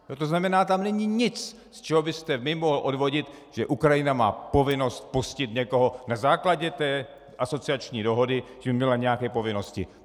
To znamená, tam není nic, z čeho byste vy mohl odvodit, že Ukrajina má povinnost pustit někoho na základě té asociační dohody, že by měla nějaké povinnosti.